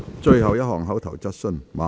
最後一項口頭質詢。